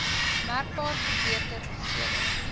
merkbaar verbeter sedert